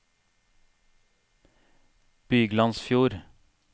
Byglandsfjord